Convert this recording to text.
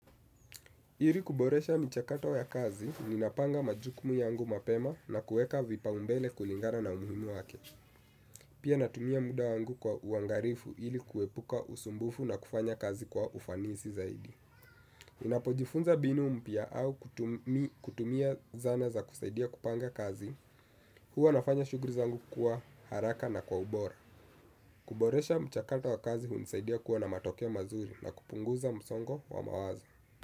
Ili kuboresha michakato ya kazi, ninapanga majukumu yangu mapema na kuweka vipaumbele kulingana na umuhimu wake. Pia natumia muda wangu kwa uangalifu ili kuepuka usumbufu na kufanya kazi kwa ufanisi zaidi. Ninapojifunza mbinu mpya au kutumia zana za kusaidia kupanga kazi, huwa nafanya shughuli zangu kuwa haraka na kwa ubora. Kuboresha mchakato wa kazi, hunisaidia kuwa na matokeo mazuri na kupunguza msongo wa mawazo.